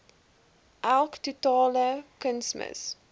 elk totale kunsmis